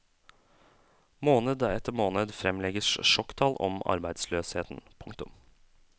Måned etter måned fremlegges sjokktall om arbeidsløsheten. punktum